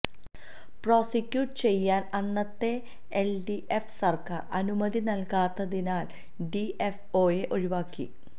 prosecute ചെയ്യാന് അന്നത്തെ LDF സര്ക്കാര് അനുമതി നല്കാത്തതിനാല് ഡിഎഫ്ഒയെ ഒഴിവാക്കി